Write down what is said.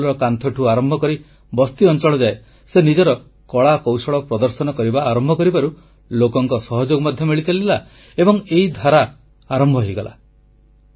ସ୍କୁଲର କାନ୍ଥରୁ ଆରମ୍ଭ କରି ବସ୍ତି ଅଂଚଳ ଯାଏ ସେ ନିଜର କଳାକୌଶଳ ପ୍ରଦର୍ଶନ କରିବା ଆରମ୍ଭ କରିବାରୁ ଲୋକଙ୍କ ସହଯୋଗ ମଧ୍ୟ ମିଳିଚାଲିଲା ଏବଂ ଏହି ଧାରା ଆରମ୍ଭ ହୋଇଗଲା